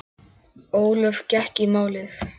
Ólöf gekk í málið.